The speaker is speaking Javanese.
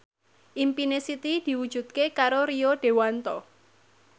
impine Siti diwujudke karo Rio Dewanto